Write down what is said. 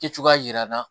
Kɛ cogoya yir'an na